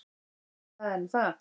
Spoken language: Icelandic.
Það er nú það.